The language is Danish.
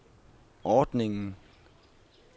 ordningen